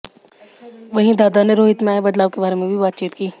वहीं दादा ने रोहित में आए बदलाव के बारे में भी बातचीत की